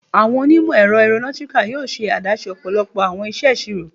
Awọn onimọ-ẹrọ Aeronautical yoo ṣe adaṣe ọpọlọpọ awọn iṣeṣiro